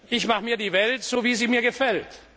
Ich mach' mir die Welt, so wie sie mir gefällt.